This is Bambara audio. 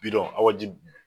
Bidɔn awa jib.